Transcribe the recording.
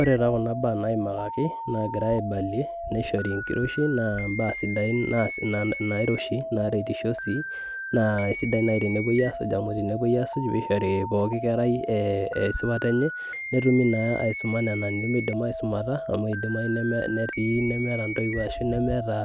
Ore taa kuna baa naimakaki ogirai aibalie neishori enkiroshi naa imbaa sidai nairoshi neretisho sii naa naisidai nai tenepoi aasuj amuu tenepoi aasuj peishori pooki kerai esipata enye netumi naa aisuma nena nemeidim aisumata amuu edimayu netii nemeeta intowu ashu idimayu nemeeta